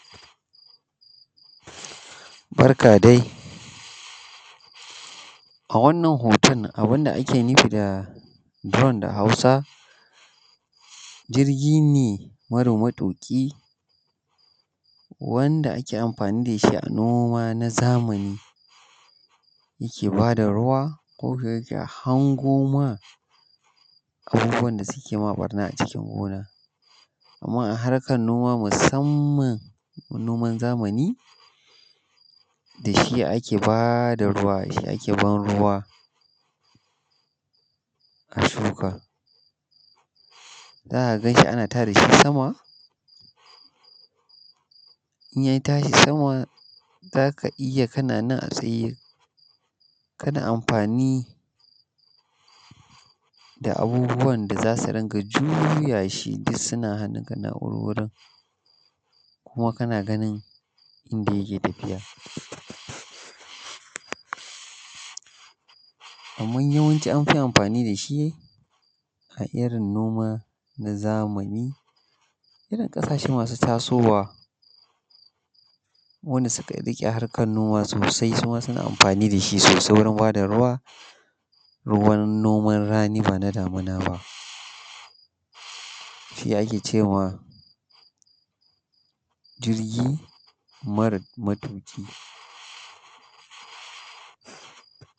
Barka dai, a wannan hoton abun da ake nufi da drone da hausa, jirgi ne mara matuƙi wanda ake amfani da shi a noma na zamani, yake bada ruwa kuma yake hango maka abun da yake maka ɓanna a cikin gona. Amma a harkan noma musanman noman zamani da shi ake ba da ruwa, da shi ake ban ruwa a shuka. Zaka gan shi ana tada shi sama, in ya tashi sama za ka iya kana nan tsaye kana amfani da abubuwan da za su rinƙa juya shi duk suna hannunka na wurwurin, kuma kana ganin inda yake tafiya. Amma yawanci anfi amfani da shi a irin noma na zamani ,irin kasashe masu tasowa wanda suka riƙe harkan noma sosai suma suna amfani da shi sosai wurin ba da ruwa, ruwan noman rani ba na damuna ba. Shi ake cewa jirgi mara matuƙi